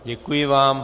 Děkuji vám.